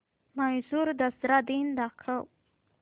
म्हैसूर दसरा दिन दाखव